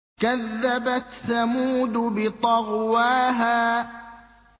كَذَّبَتْ ثَمُودُ بِطَغْوَاهَا